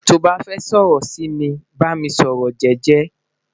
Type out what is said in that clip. to ba fẹ sọrọ si mi, ba mi sọrọ jẹjẹ